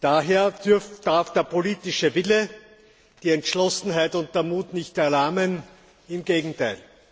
Daher dürfen der politische Wille, die Entschlossenheit und der Mut nicht erlahmen, im Gegenteil.